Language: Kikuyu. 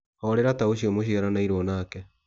Horera ta ũcio mũciaranĩirio nake.